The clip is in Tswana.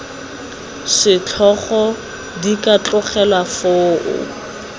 setlhogo di ka tlogelwa foo